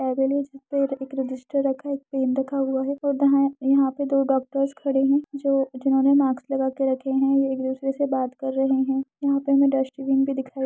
पे एक रजिस्टर रखा है। एक पेन रखा हुआ है और दाया यहाँ पे दो डॉक्टर्स खड़े हैं जो जिन्होंने माक्स लगा के रखे हैं। ये एक दुसरे से बात कर रहे हैं। यहाँ पर हमें डस्टबीन भी दिखाई --